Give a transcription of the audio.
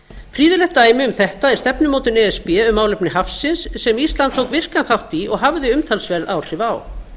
prýðilegt dæmi um þetta er stefnumótun e s b um málefni hafsins sem ísland tók virkan þátt í og hafði umtalsverð áhrif á